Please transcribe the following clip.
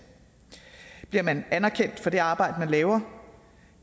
bliver man anerkendt for det arbejde man laver